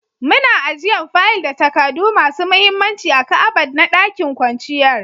Muna ajian fayil da takadu masun muhimmanci a'kabad na ɗakin kwanciyar